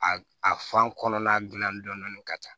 A a fan kɔnɔna dilan dɔɔni dɔɔni ka ca